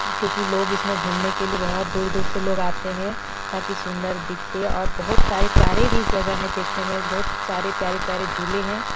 क्यूंकि लोग इसमें घूमने के लिए बहोत दूर-दूर से लोग आते हैं ताकि सुन्दर दिखे और बहुत सारे प्यारे भी है इस जगह देखने में बहुत सारे प्यारे-प्यारे झूले हैं ।